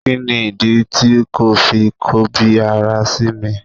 Kí nìdí ti ko fi ń kọbi ara sí mi?